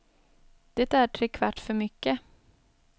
Det är tre kvart för mycket.